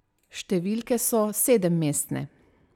Številke so sedemmestne!